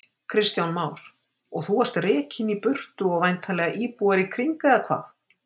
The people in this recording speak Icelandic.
Kristján Már: Og þú varst rekinn í burtu og væntanlega íbúar í kring, eða hvað?